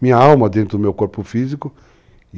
Minha alma dentro do meu corpo físico.